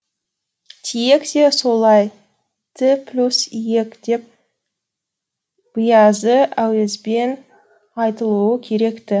тиек те солай ті плюс йек деп быйазы әуезбен айтылуы керек ті